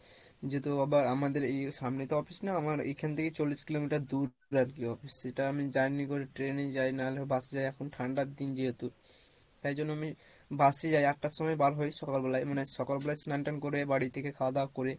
যেহেতু আবার আমাদের এই সামনে তো office না আমার এইখান থেকে চল্লিশ কিলোমিটার দূর office সেটা আমি journey করে train এ যাই নাহলে বাস এ যাই এখন ঠান্ডার দিন যেহেতু তাই জন্য আমি bus এ যাই আট টার সময় বার হই, সকাল বেলাই মানে সকাল বেলাই স্নান টান করে বাড়ি থেকে খাওয়া দাওয়া করে